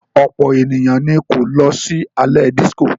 Ọ̀pọ̀ ènìyàn ni kò lọ sí alẹ́ dísíkò.